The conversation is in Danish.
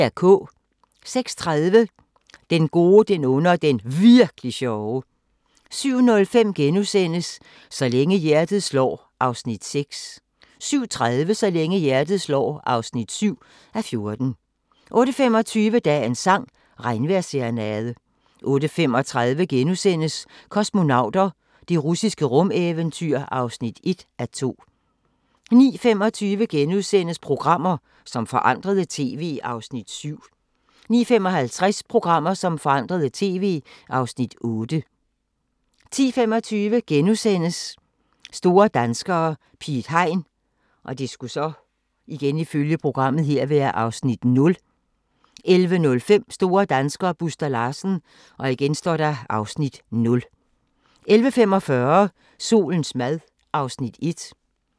06:30: Den gode, den onde og den Virk'li sjove 07:05: Så længe hjertet slår (6:14)* 07:30: Så længe hjertet slår (7:14) 08:25: Dagens sang: Regnvejrsserenade 08:35: Kosmonauter – det russiske rumeventyr (1:2)* 09:25: Programmer som forandrede TV (Afs. 7)* 09:55: Programmer, som forandrede TV (Afs. 8) 10:25: Store danskere - Piet Hein (Afs. 0)* 11:05: Store danskere - Buster Larsen (Afs. 0) 11:45: Solens mad (Afs. 1)